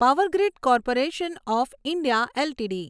power grid corporation of India LTD